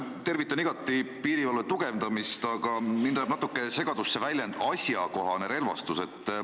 " Tervitan igati piirivalve tugevdamist, aga mind ajab natuke segadusse väljend "asjakohane relvastus".